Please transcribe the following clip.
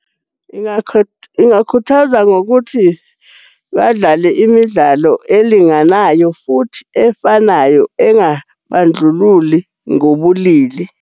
Ingakhuthaza ngokuthi badlale imidlalo elinganayo futhi efanayo, engabandlululi ngobulili.